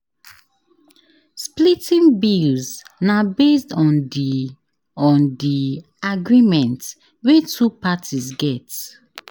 Splitting bills na based on di on di agreement wey two parties get